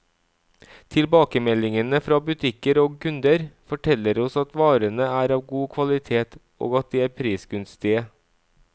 Tilbakemeldingene fra butikker og kunder, forteller oss at varene er av god kvalitet, og at de er prisgunstige.